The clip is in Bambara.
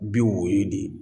Bi woyo de